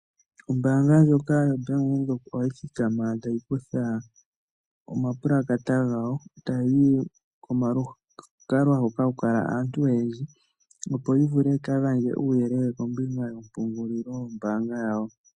Ombaanga ndjoka yoBank Windhoek ohayi thikama tayi kutha omapulakata gawo tayi yi komalukalwa hoka haku kala aantu oyendji, opo yi vule yi ka gandje uuyelele kombinga yompungulilo yombaanga yawo.